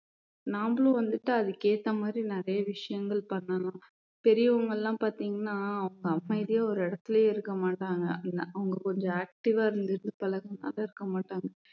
நாமளும் வந்துட்டு அதுக்கேத்த மாதிரி நிறைய விஷயங்கள் பண்ணலாம் பெரியவங்க எல்லாம் பார்த்தீங்கன்னா அமைதியா ஒரு இடத்திலேயே இருக்க மாட்டாங்க அப்படின்னா அவங்க கொஞ்சம் active ஆ இருந்துட்டு இருக்க மாட்டாங்க